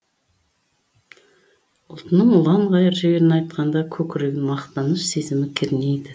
ұлтының ұланғайыр жерін айтқанда көкірегін мақтаныш сезімі кернейді